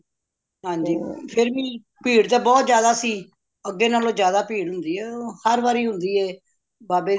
ਹਨਜੀ ਫੇਰ ਵੀ ਭੀੜ ਤੇ ਬਹੁਤ ਜ਼ਿਆਦਾ ਸੀ ਅੱਗੋਂ ਨਾਲੋਂ ਜ਼ਿਆਦਾ ਭੀੜ ਹੁੰਦੀ ਏ ਹਰ ਵਾਰ ਹੁੰਦੀ ਏ ਬਾਬੇ